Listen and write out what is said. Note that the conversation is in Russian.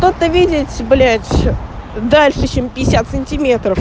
то ты видеть блять дальше чем пятьдесят сантиметров